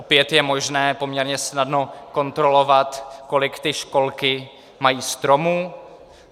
Opět je možné poměrně snadno kontrolovat, kolik ty školky mají stromů.